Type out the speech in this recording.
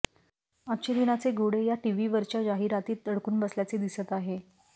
अच्छे दिनाचे घोडे या टीव्ही वरच्या जाहिरातीत अडकून बसल्याचे दिसत आहे